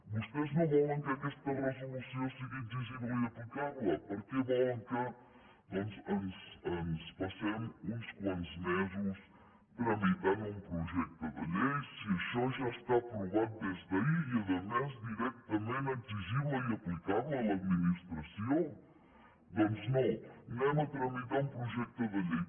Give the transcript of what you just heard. vostès no volen que aquesta resolució sigui exigible i aplicable per què volen que doncs ens passem uns quants mesos tramitant un projecte de llei si això ja està aprovat des d’ahir i a més directament exigible i aplicable a l’administració doncs no anem a tramitar un projecte de llei